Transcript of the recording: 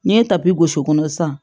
N'i ye tapi gosi kɔnɔ sisan